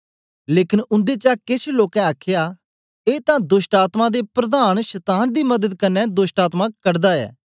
लेकन उन्देचा केछ लोकें आखया ए तां दोष्टआत्मायें दे प्रधान शतान दी मदत कन्ने दोष्टआत्मा कडादा ऐ